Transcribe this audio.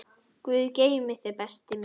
Guð geymi þig, besti minn.